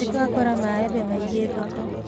Nĩtwakora maembe maingĩ thoko